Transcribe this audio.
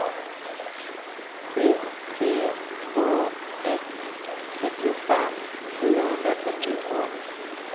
sju tre två ett trettiofem fyrahundrafyrtiotvå